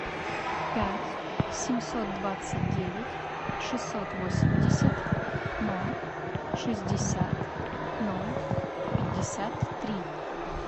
пять семьсот двадцать девять шестьсот восемьдесят ноль шестьдесят ноль пятьдесят три